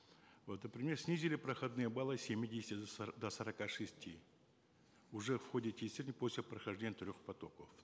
вот например снизили проходные баллы с семидесяти до до сорока шести уже в ходе тестирования после прохождения трех потоков